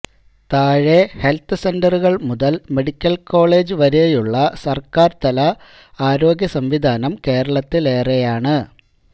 താഴെ ഹെല്ത്ത് സെന്ററുകള് മുതല് മെഡിക്കല് കോളേജ് വരെയുള്ള സര്ക്കാര് തല ആരോഗ്യസംവിധാനം കേരളത്തിലേറെയാണ്